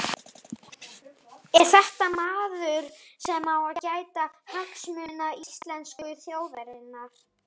Er þetta maður sem á að gæta hagsmuna íslensku þjóðarinnar?